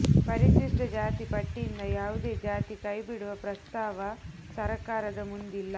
ಪರಿಶಿಷ್ಟ ಜಾತಿ ಪಟ್ಟಿಯಿಂದ ಯಾವುದೇ ಜಾತಿ ಕೈ ಬಿಡುವ ಪ್ರಸ್ತಾವ ಸರ್ಕಾರದ ಮುಂದಿಲ್ಲ